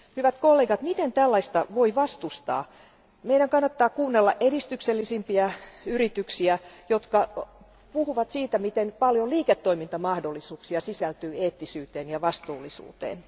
Hyvät kollegat, miten tällaista voi vastustaa? Meidän kannattaa kuunnella edistyksellisimpiä yrityksiä, jotka puhuvat siitä, miten paljon liiketoimintamahdollisuuksia sisältyy eettisyyteen ja vastuullisuuteen.